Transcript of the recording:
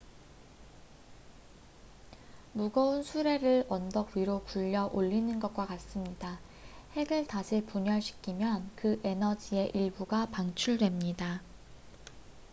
무거운 수레를 언덕 위로 굴려 올리는 것과 같습니다 핵을 다시 분열시키면 그 에너지의 일부가 방출됩니다